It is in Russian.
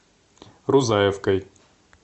рузаевкой